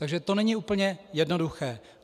Takže to není úplně jednoduché.